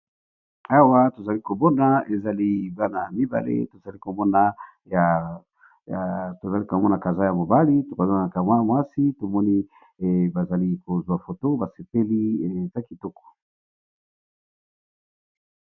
Awa tovzali ko mona ezali bana mibale to zali ko mona ka za ya mobali oko zaa kamwa mwasi to moni ba zali kozwa photo ba sepeli ya kitokoc .